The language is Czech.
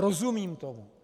Rozumím tomu.